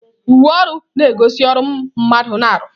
Uwe ọrụ na-egosi ọrụ mmadụ na-arụ.